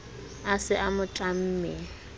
a se a mo tlamme